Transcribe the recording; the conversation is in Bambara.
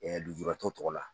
Ɛɛ lujuratɔ tɔgɔ la.